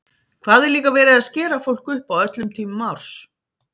Hvað er líka verið að skera fólk upp á öllum tímum árs!